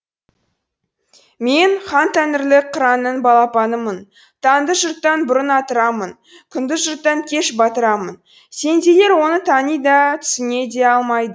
мен хантәңірлік қыранның балапанымын таңды жұрттан бұрын атырамын күнді жұрттан кеш батырамын сендейлер оны тани да түсіне де алмайды